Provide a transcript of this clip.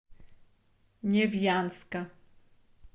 невьянска